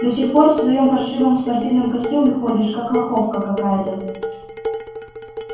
до сих пор в своём паршивом спортивном костюме ходишь как лоховка какая-то